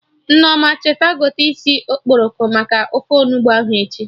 Nneoma, cheta gote isi okporoko maka ofe Onugbu ahụ echi